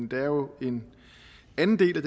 jo den anden del af